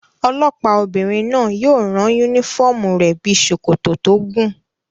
Olọ́pàá obìnrin náà yóò rán yúnífọ́ọ̀mù rẹ̀ bíi sòkòtò tó gùn